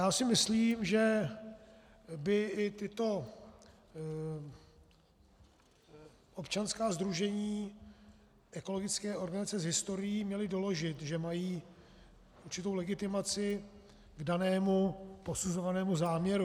Já si myslím, že by i tato občanská sdružení, ekologické organizace s historií, měla doložit, že mají určitou legitimaci k danému posuzovanému záměru.